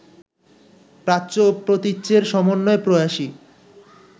প্রাচ্য ও প্রতীচ্যের সমন্বয়-প্রয়াসই